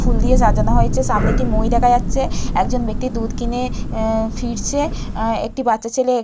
ফুল দিয়ে সাজানো হয়েছে সামনে এক মই দেখা যাচ্ছে। একজন ব্যক্তি দুধ কিনে এ ফিরছে একটি বাচ্চা ছেলে--